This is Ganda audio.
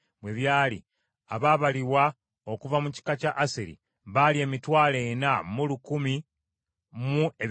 Abaabalibwa okuva mu kika kya Aseri baali emitwalo ena mu lukumi mu ebikumi bitaano (41,500).